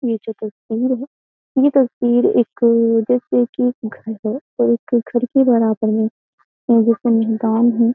ये जो तस्वीर है ये तस्वीर एक्क जैसे की एक घर है और एक घर के बराबर में एक है।